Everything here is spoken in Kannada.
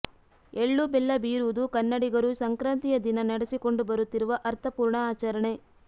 ಎಳ್ಳು ಬೆಲ್ಲ ಬೀರುವುದು ಕನ್ನಡಿಗರು ಸಂಕ್ರಾಂತಿಯ ದಿನ ನಡೆಸಿಕೊಂಡು ಬರುತ್ತಿರುವ ಅರ್ಥಪೂರ್ಣ ಆಚರಣೆ